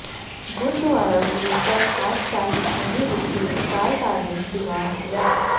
ਗੁਰਦੁਆਰਾ ਗੁਰੂਸਰ ਪਾਤਸ਼ਾਹੀ ਛੇਵੀਂ ਵਿਖੇ ਵਿਸ਼ਾਲ ਧਾਰਮਿਕ ਦੀਵਾਨ ਸਜਾਏ